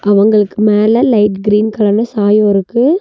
அவங்களுக்கு மேல light green கலர்னு சாயோ இருக்கு.